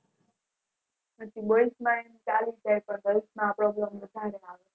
boys માં કાય એવું નો હોય પણ grils માં વધારે Problem આવે